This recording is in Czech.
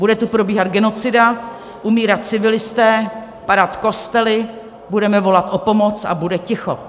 Bude tu probíhat genocida, umírat civilisté, padat kostely, budeme volat o pomoc - a bude ticho.